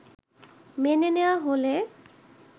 মেনে নেয়া হলে